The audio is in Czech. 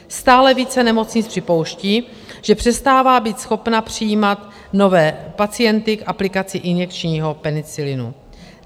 Stále více nemocnic připouští, že přestávají být schopny přijímat nové pacienty k aplikaci injekčního penicilinu.